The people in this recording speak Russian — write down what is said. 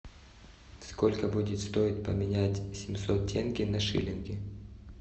сколько будет стоить поменять семьсот тенге на шиллинги